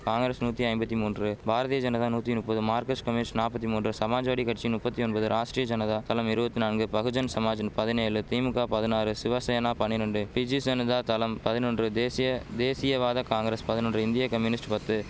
காங்கிரஸ் நூத்தி ஐம்பத்தி மூன்று பாரதிய ஜனதா நூத்தி நுப்பது மார்கஸ்ட் கம்யூனிஸ்ட் நாப்பத்தி மூன்று சமாஜ்வாடி கட்சி நுப்பத்தி ஒம்பது ராஷ்டிரிய ஜனதா தளம் இருவத்து நான்கு பகுஜன் சமாஜ் பதினேலு திமுக பதினாறு சிவசேனா பனிரெண்டு பிஜி சனிதா தளம் பதினொன்று தேசிய தேசியவாத காங்கரஸ் பதினொன்று இந்திய கம்யூனிஸ்ட் பத்து